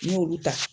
N y'olu ta